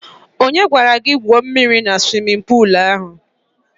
Onye gwara ya gwuo mmiri na suwimin puulu ahụ?